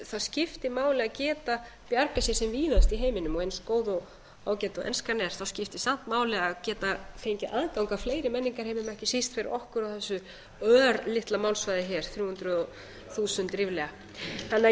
það skiptir máli að geta bjargað sér sem víðast í heiminum eins góð og ágæt og enskan er skiptir samt máli að geta fengið aðgang á fleiri menningarheimum ekki síst fyrir okkur á þessu örlitla málsvæði hér þrjú hundruð þúsund ríflega þannig að